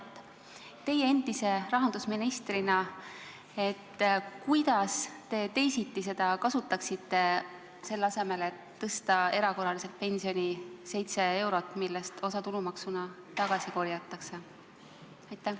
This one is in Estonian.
Kuidas teie endise rahandusministrina seda raha kasutaksite, selle asemel et tõsta erakorraliselt pensioni seitse eurot, millest osa tulumaksuna tagasi korjatakse?